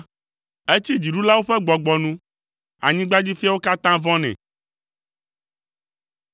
Etsi dziɖulawo ƒe gbɔgbɔ nu; anyigbadzifiawo katã vɔ̃nɛ.